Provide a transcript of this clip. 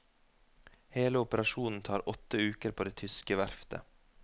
Hele operasjonen tar åtte uker på det tyske verftet.